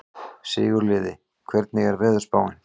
Sigurliði, hvernig er veðurspáin?